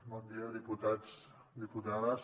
bon dia diputats diputades